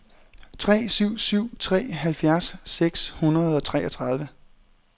tre syv syv tre halvfjerds seks hundrede og treogtredive